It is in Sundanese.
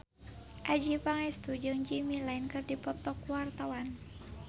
Adjie Pangestu jeung Jimmy Lin keur dipoto ku wartawan